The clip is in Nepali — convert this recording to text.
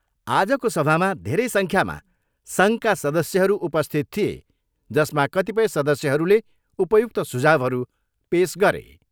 आजको सभामा धेरै सङ्ख्यामा सङ्घका सदस्यहरू उपस्थित थिए जसमा कतिपय सदस्यहरूले उपयुक्त सुझाउहरू पेस गरे।